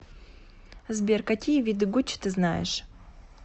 сбер какие виды гуччи ты знаешь